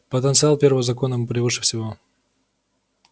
потенциал первого закона превыше всего